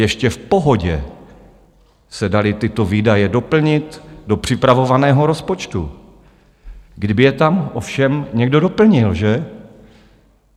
Ještě v pohodě se daly tyto výdaje doplnit do připravovaného rozpočtu, kdyby je tam ovšem někdo doplnil, že?